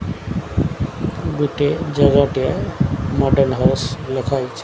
ଗୋଟେ ଜାଗା ଟେ ମଡର୍ନ ହାଉସ ଲେଖା ହେଇଚି।